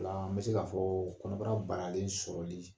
O la an bɛ se k'a fɔ kɔnɔbara balalen sɔrɔli